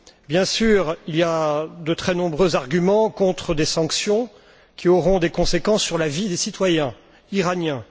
Bien sûr, il y a de très nombreux arguments contre des sanctions, car elles auront des conséquences sur la vie des citoyens iraniens.